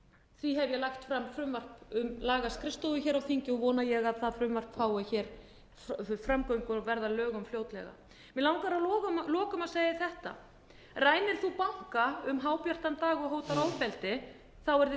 því hef ég lagt fram frumvarp um lagaskrifstofu hér á þingi og vona ég að það frumvarpi fái framgöngu og verði fljótlega að lögum mig langar að lokum að segja þetta rænir þú banka um hábjartan dag og hótar ofbeldi verður þér